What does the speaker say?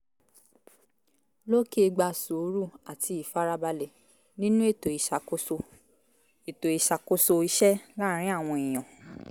lókè " gba sùúrù àti ìfarabalẹ̀ nínú ètò ìṣàkóso ètò ìṣàkóso iṣẹ́ láàárín àwọn èèyàn